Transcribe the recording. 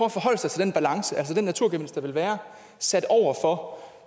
at forholde sig til den balance altså den naturgevinst der vil være sat over for